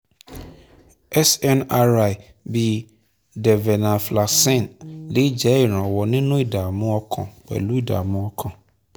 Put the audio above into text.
snri bíi desvelnaflaxcine lè jẹ́ ìrànwọ́ nínú ìdààmú ọkàn pẹ̀lú ìdààmú ọkàn